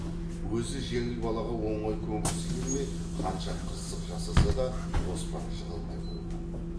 өзі жеңіл балаға оңай көнгісі келмей қанша қырсық жасаса да оспан жығылмай қойған